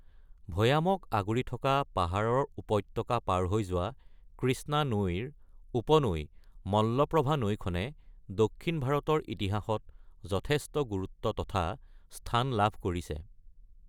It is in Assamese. ভৈয়ামক আগুৰি থকা পাহাৰৰ উপত্যকা পাৰ হৈ যোৱা কৃষ্ণা নৈৰ উপনৈ মল্লপ্ৰভা নৈখনে দক্ষিণ ভাৰতৰ ইতিহাসত যথেষ্ট গুৰুত্ব তথা স্থান লাভ কৰিছে।